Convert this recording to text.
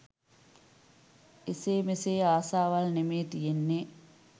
එසේ මෙසේ ආසාවල් නෙමේ තියෙන්නේ